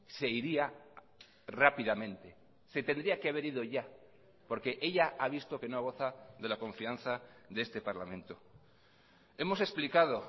se iría rápidamente se tendría que haber ido ya porque ella ha visto que no goza de la confianza de este parlamento hemos explicado